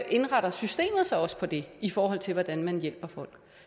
indretter systemet sig også på det i forhold til hvordan man hjælper folk